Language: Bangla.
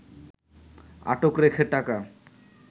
আটক রেখে টাকা